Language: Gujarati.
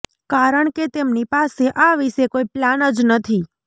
કારણકે તેમની પાસે આ વિશે કોઈ પ્લાન જ નથી